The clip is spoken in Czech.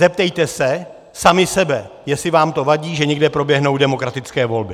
Zeptejte se sami sebe, jestli vám to vadí, že někde proběhnou demokratické volby!